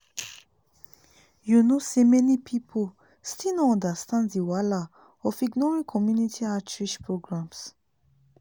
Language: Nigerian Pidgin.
you know say many people still no understand the wahala of ignoring community outreach programs.